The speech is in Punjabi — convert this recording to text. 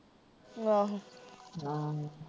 ਆਹੋ ਆਹ